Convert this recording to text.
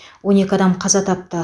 он екі адам қаза тапты